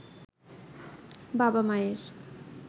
বাবা-মায়ের